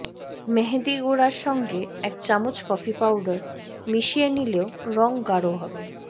মেহেদিগুঁড়ার সঙ্গে এক চামচ কফি পাউডার মিশিয়ে নিলেও রং গাঢ় হবে